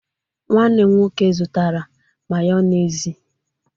Nwanne m nwoke zụtara Mayonezi.